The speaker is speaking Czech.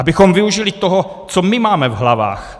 Abychom využili toho, co my máme v hlavách.